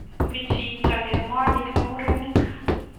Bichito kemwae kele murenik.